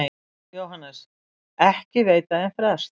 JÓHANNES: Ekki veita þeir frest.